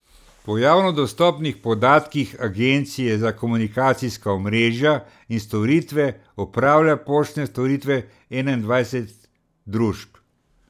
Po javno dostopnih podatkih agencije za komunikacijska omrežja in storitve opravlja poštne storitve enaindvajset družb.